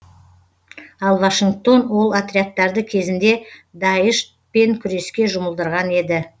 ал вашингтон ол отрядтарды кезінде даиш пен күреске жұмылдырған еді